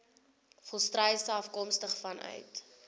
volstruise afkomstig vanuit